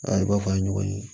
A i b'a fɔ an ye ɲɔgɔn ye